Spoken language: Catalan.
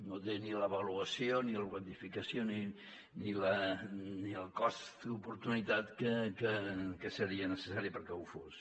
no té ni l’avaluació ni la quantificació ni el cost d’oportunitat que seria necessari perquè ho fos